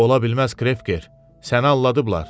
Ola bilməz Krevker, səni alladıblar.